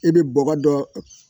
I bɛ bɔ dɔ